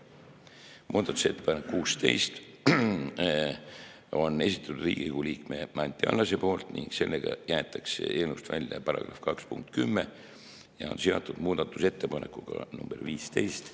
Muudatusettepaneku nr 16 on esitanud Riigikogu liige Anti Allas ning sellega jäetakse eelnõust välja § 2 punkt 10 ja see on seotud muudatusettepanekuga nr 15.